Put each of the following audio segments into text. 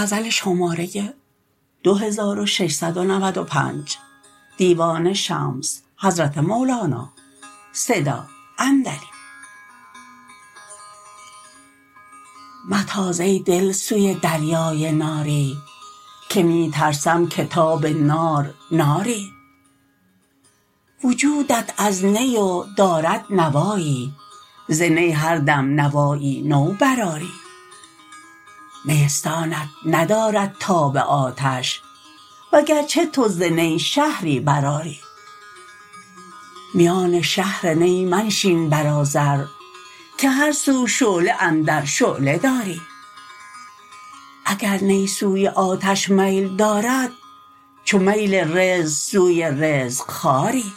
متاز ای دل سوی دریای ناری که می ترسم که تاب نار ناری وجودت از نی و دارد نوایی ز نی هر دم نوایی نو برآری نیستانت ندارد تاب آتش وگرچه تو ز نی شهری برآری میان شهر نی منشین بر آذر که هر سو شعله اندر شعله داری اگر نی سوی آتش میل دارد چو میل رزق سوی رزق خواری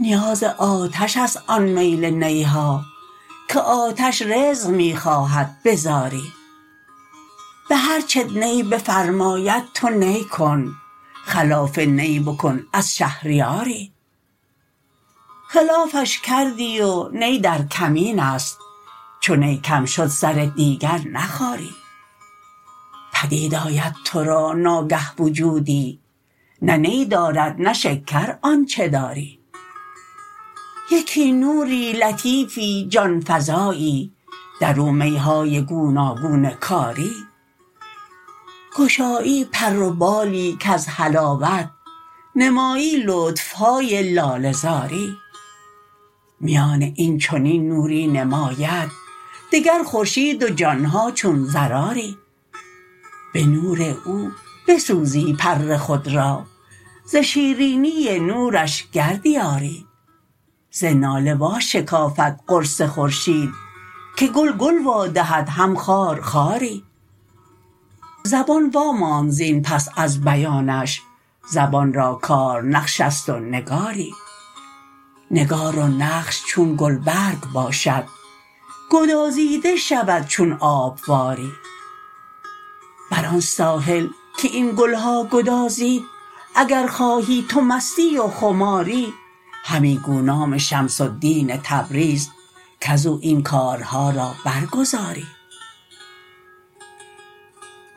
نیاز آتش است آن میل تنها که آتش رزق می خواهد به زاری به هر چت نی بفرماید تو نی کن خلاف نی بکن از شهریاری خلافش کردی و نی در کمین است چو نی کم شد سر دیگر نخاری پدید آید تو را ناگه وجودی نه نی دارد نه شکر آنچ داری یکی نوری لطیفی جان فزایی در او می های گوناگون کاری گشایی پر و بالی کز حلاوت نمایی لطف های لاله زاری میان این چنین نوری نماید دگر خورشید و جان ها چون ذراری به نور او بسوزی پر خود را ز شیرینی نورش گردی عاری ز ناله واشکافد قرص خورشید که گل گل وادهد هم خار خاری زبان واماند زین پس از بیانش زبان را کار نقش است و نگاری نگار و نقش چون گلبرگ باشد گدازیده شود چون آب واری بر آن ساحل که ای ن گل ها گدازید اگر خواهی تو مستی و خماری همی گو نام شمس الدین تبریز کز او این کارها را برگزاری